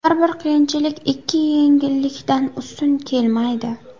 Har bir qiyinchilik ikki yengillikdan ustun kelmaydi”.